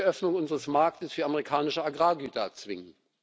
Er will die Öffnung unseres Marktes für amerikanische Agrargüter erzwingen.